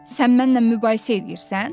Sən mənlə mübahisə eləyirsən?